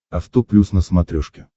авто плюс на смотрешке